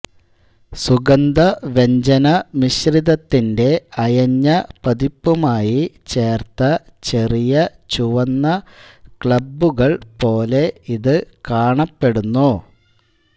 സുഗന്ധവ്യഞ്ജന മിശ്രിതത്തിന്റെ അയഞ്ഞ പതിപ്പുമായി ചേർത്ത ചെറിയ ചുവന്ന ക്ലമ്പുകൾ പോലെ ഇത് കാണപ്പെടുന്നു